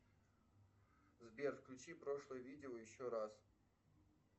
сбер включи прошлое видео еще раз